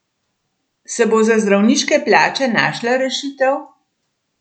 Se bo za zdravniške plače našla rešitev?